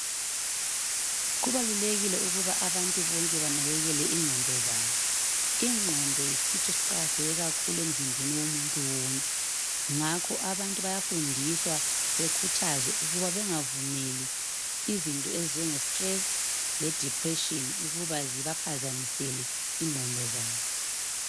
Kubalulekile ukuba abantu bonke banakekele ingqondo zabo ingqondo yisitho esiqakatheke kakhulu emzimbeni womuntu wonke ngakho abantu bayafundiswa bekhuthazwe ukuba bengavumeli izinto ezinje stress le depression ukuba zibaphazamisele ingqondo zabo.